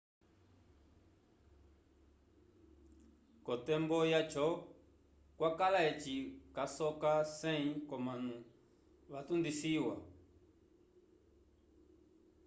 k'otembo yaco kwakala eci casoka 100 k'omanu vatundisiwa